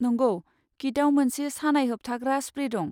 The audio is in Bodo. नंगौ, किटआव मोनसे सानाय होबथाग्रा स्प्रे दं।